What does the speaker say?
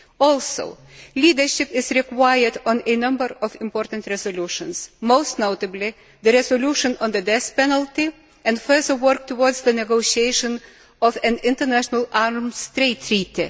Also, leadership is required on a number of important resolutions, most notably the resolution on the death penalty and further work towards the negotiation of an international arms trade treaty.